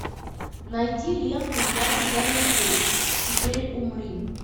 найди ленту я тебя люблю теперь умри